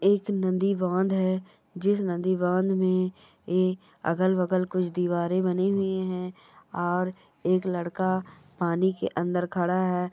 एक नदी बांध है जिस नदी बांध में ये अगल-बगल कुछ दिवारे बने हुए है और एक लड़का पानी के अंदर खड़ा है।